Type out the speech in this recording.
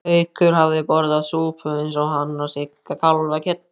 Haukur hafði borðað súpu eins og hann og Sigga kálfakjöt.